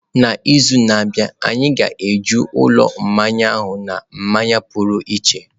N'izu na-abịa, anyị ga-eju ụlọ mmanya ahụ na mmanya pụrụ iche.